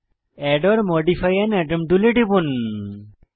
add or modify an atom টুলে টিপুন